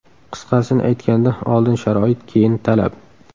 Qisqasini aytganda oldin sharoit, keyin talab.